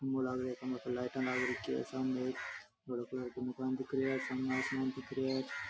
खम्बो लाग रियो खम्बा पर लाइट लाग रखी है सामने एक हरो कलर को मकान दिख रियो है सामे आसमान दिख रिया है।